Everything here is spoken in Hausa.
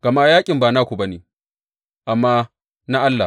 Gama yaƙin ba naku ba ne, amma na Allah.